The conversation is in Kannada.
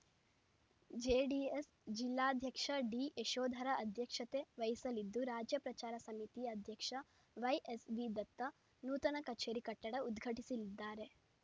ಜೆಡಿಎಸ್‌ ಜಿಲ್ಲಾಧ್ಯಕ್ಷ ಡಿಯಶೋಧರ ಅಧ್ಯಕ್ಷತೆ ವಹಿಸಲಿದ್ದು ರಾಜ್ಯ ಪ್ರಚಾರ ಸಮಿತಿ ಅಧ್ಯಕ್ಷ ವೈಎಸ್‌ವಿದತ್ತ ನೂತನ ಕಚೇರಿ ಕಟ್ಟಡ ಉದ್ಘಾಟಿಸಲಿದ್ದಾರೆ